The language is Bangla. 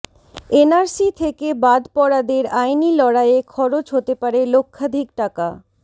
এনআরসি থেকে বাদ পড়াদের আইনি লড়াইয়ে খরচ হতে পারে লক্ষাধিক টাকা